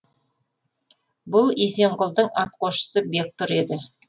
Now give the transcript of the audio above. бұл есенқұлдың атқосшысы бектұр еді